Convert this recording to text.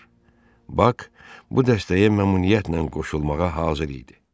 Bak bu dəstəyə məmnuniyyətlə qoşulmağa hazır idi.